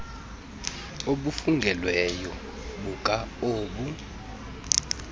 obufungelweyo buka obu